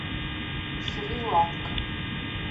шри ланка